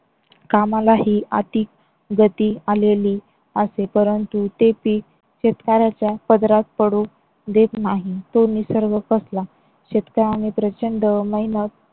कामालाही अतिगती आलेली असे. परंतु ते पीक शेतकऱ्याच्या पदरात पडू देत नाही. तो निसर्ग कसला. शेतकरी आणि प्रचंड मेहनत.